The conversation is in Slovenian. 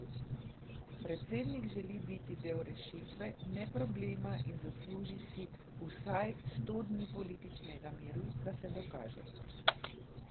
Predsednik želi biti del rešitve, ne problema in zasluži si vsaj sto dni političnega miru, da se dokaže.